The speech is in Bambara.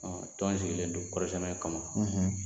Tɔn sigilen don kɔri sɛnɛ kama;